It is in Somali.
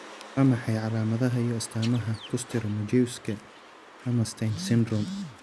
Waa maxay calaamadaha iyo astaamaha Kuster Majewski Hammerstein syndrome?